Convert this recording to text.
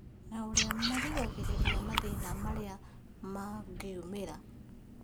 Na ũrĩa mangĩrigĩrĩria mathĩna marĩa mangiumĩra